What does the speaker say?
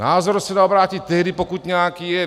Názor se dá obrátit tehdy, pokud nějaký je.